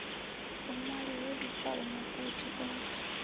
vhuṅwali ho vhibvaho mugudi o